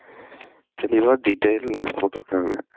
தெளிவா detail ஆஹ் போட்ருக்காங்க.